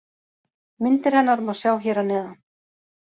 Myndir hennar má sjá hér að neðan.